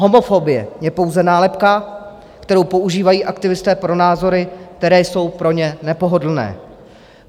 Homofobie je pouze nálepka, kterou používají aktivisté pro názory, které jsou pro ně nepohodlné.